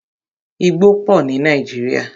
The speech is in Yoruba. Igbó pọ ní Nàíjírìa.